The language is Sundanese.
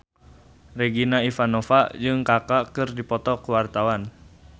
Regina Ivanova jeung Kaka keur dipoto ku wartawan